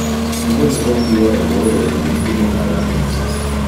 Nguni ko Pierre ko urerenjin timit ab Arsenal.